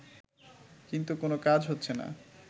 কিন্তু কোনো কাজ হচ্ছেনা